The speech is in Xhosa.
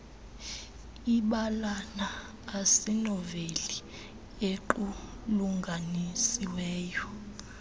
ibalana asinoveli equlunganisiweyo